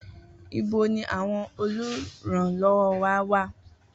Ibo ni àwọn olùrànlọ́wọ́ wà?